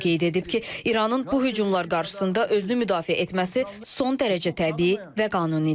O qeyd edib ki, İranın bu hücumlar qarşısında özünü müdafiə etməsi son dərəcə təbii və qanunidir.